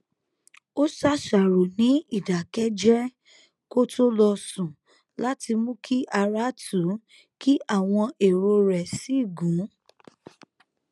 ó ṣàṣàrò ní ìdákéjéé kó tó lọ sùn láti mú kí ara tù ú kí àwọn èrò rè sì gún